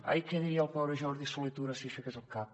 ai què diria el pobre jordi solé tura si aixequés el cap